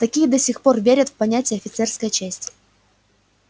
такие до сих пор верят в понятие офицерская честь